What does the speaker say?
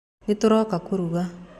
Nĩtũroka kũruga.